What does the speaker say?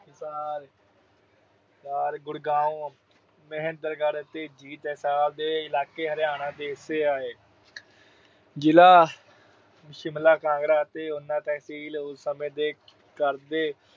ਹਿਸਾਰ, ਗੁੜਗਾਉਂ, ਮਹੇਂਦਰਗੜ੍ਹ ਤੇ ਜਿੰਦ, ਹਿਸਾਰ ਦੇ ਇਲਾਕੇ ਹਰਿਆਣਾ ਜ਼ਿਲ੍ਹੇ ਦੇ ਹਿੱਸੇ ਆਏ। ਜ਼ਿਲ੍ਹਾ ਸ਼ਿਮਲਾ, ਕਾਂਗੜਾ ਅਤੇ ਉਨਾ ਤਹਿਸੀਲ ਉਸ ਸਮੇਂ ਦੇ ਕਰਦੇ